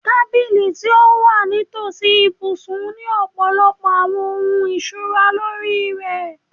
Tabili ti o wa nitosi ibusun ni ọpọlọpọ awọn ohun ikunra lori rẹ